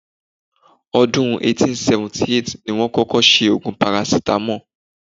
Ọdún 1878 ní wọ́n kọ́kọ́ ṣe oògùn parasítámọ̀.